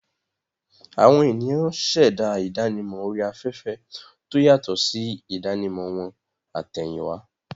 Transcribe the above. Àwọn ènìyàn ṣẹ̀dá ìdánimọ̀ orí afẹ́fẹ́ tó yàtọ̀ sí ìdánimọ̀ wọn àtẹ̀yìnwá.